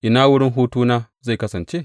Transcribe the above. Ina wurin hutuna zai kasance?